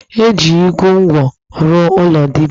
E ji igu nkwụ rụọ ụlọ dibia